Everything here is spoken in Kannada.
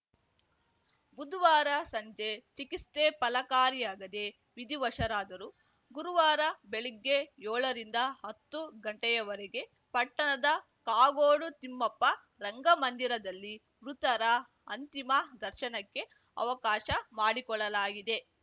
ಬುಧವಾರ ಸಂಜೆ ಚಿಕಿಸ್ತೆ ಫಲಕಾರಿಯಾಗದೆ ವಿಧಿವಶರಾದರು ಗುರುವಾರ ಬೆಳಗ್ಗೆ ಯೋಳರಿಂದ ಅತ್ತು ಗಂಟೆಯವರೆಗೆ ಪಟ್ಟಣದ ಕಾಗೋಡು ತಿಮ್ಮಪ್ಪ ರಂಗಮಂದಿರದಲ್ಲಿ ಮೃತರ ಅಂತಿಮ ದರ್ಶನಕ್ಕೆ ಅವಕಾಶ ಮಾಡಿಕೊಡಲಾಗಿದೆ